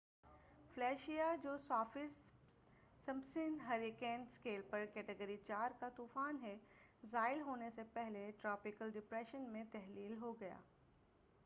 Felicia جو Saffir Simpson hurricane scale پر category 4 کا طوفان ہے زائل ہونے سے پہلے ٹراپیکل ڈپریشن میں تحلیل ہو گیا